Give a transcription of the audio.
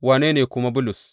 Wane ne kuma Bulus?